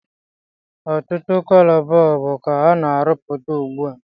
Otụtụ cọlọ bọọlbụ ka a na arụpụta ụgbụa